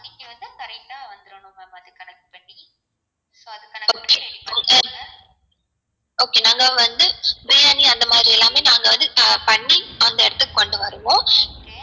okay நாங்க வந்து பிரியாணி அந்த மாதிரி எல்லாமே நாங்க வந்து பண்ணி அந்த இடத்துக்கு கொண்டு வரணும்